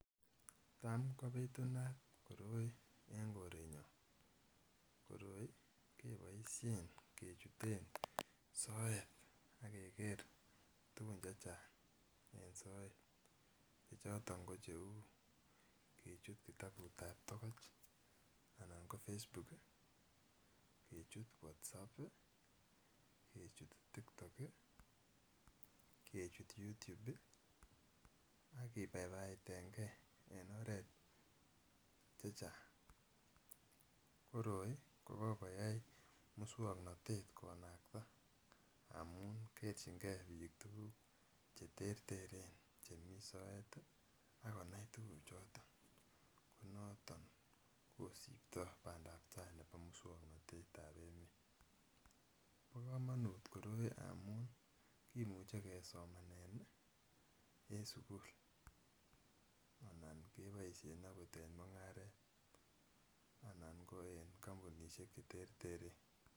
Tam kobitunat koroi en korenyon koroi keboisien kechuten soet ak keker tugun chechang en soet chechoton ko cheu kechut kitabut ab togoch anan ko Facebook ih kechut WhatsApp ih kechut TikTok ih kechut YouTube ih ak kibaibaitengee en oret chechang. Koroi ko kokoyai muswongnotet konakta amun kerchingee biik tuguk cheterteren chemii soet ih akonai tuguk choton noton kosiptoo bandaptaa nebo muswongnotet ab emet. Bo komonut koroi amun kimuche kosomanen ih en sukul anan keboisien akot en mung'aret anan ko en kampunisiek cheterteren.